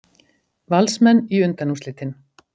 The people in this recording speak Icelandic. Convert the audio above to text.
Valsmenn í undanúrslitin